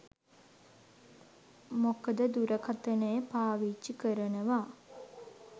මොකද දුරකථනය පාවිච්චි කරනව